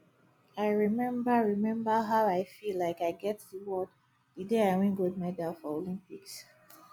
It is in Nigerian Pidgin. i remember remember how i feel like i get the world the day i win gold medal for olympics